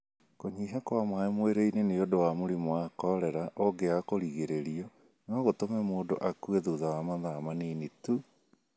Kũnyiha kwa maaĩ mwĩrĩinĩ nĩundu wa mũrimũ wa korera ũngĩaga kũrigĩrĩrio no gũtũme mũndũ akue thutha wa mathaa manini tu.